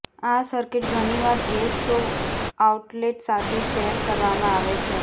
આ સર્કિટ ઘણીવાર gas stove outlet સાથે શેર કરવામાં આવે છે